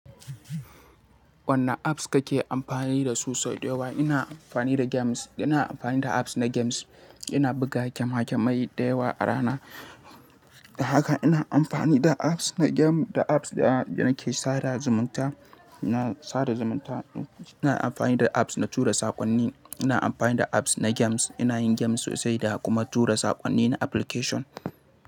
Wanne apps kake amfani da su sau da yawa? Ina amfani da games, ina amfani da apps na games. Ina buga game gamai da yawa a rana. Da haka ina amfani da apps na game da apps da nake sada zumunta, ina sada zumunta. Ina amfani da apps na tura saƙonni. Ina amfani da apps na games. Ina yin games sosai da kuma tura saƙonni na application.